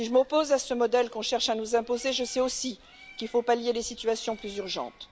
Si je m'oppose à ce modèle qu'on cherche à nous imposer, je sais aussi qu'il faut pallier des situations plus urgentes.